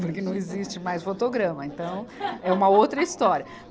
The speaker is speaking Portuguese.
porque não existe mais fotograma, então é uma outra história.